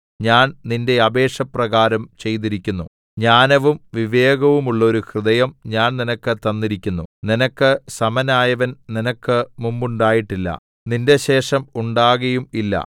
ഞാൻ നിന്റെ അപേക്ഷ പ്രകാരം ചെയ്തിരിക്കുന്നു ജ്ഞാനവും വിവേകവുമുള്ളോരു ഹൃദയം ഞാൻ നിനക്ക് തന്നിരിക്കുന്നു നിനക്ക് സമനായവൻ നിനക്ക് മുമ്പുണ്ടായിട്ടില്ല നിന്റെ ശേഷം ഉണ്ടാകയും ഇല്ല